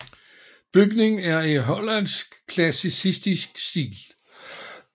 Bygningen er i hollandsk klassicistisk stil